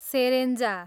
सेरेन्जा